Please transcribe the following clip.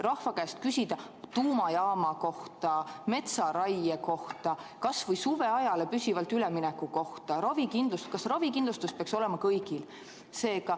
Rahva käest võiks küsida tuumajaama kohta, metsaraie kohta, kas või suveajale püsivalt ülemineku kohta, ravikindlustuse kohta, et kas ravikindlustus peaks olema kõigil.